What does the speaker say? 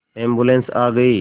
ambulance आ गई